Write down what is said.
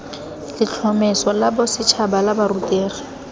letlhomeso la bosetšhaba la borutegi